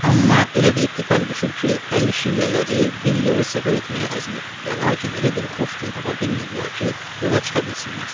Amma elə də ittifaq düşüb ki, Əli şiələri bir yerə səfər etməyə əzm edib və lakin elə bir xoş gün tapa bilməyiblər ki, yola çıxa bilsinlər.